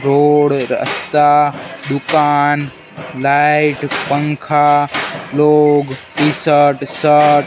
road रास्ता दुकान light पंखा लोग टि_शर्ट शर्ट --